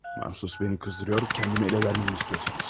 Mahsus məni qızdırıyor, kəndimi ələ verməmi istəyirsiniz.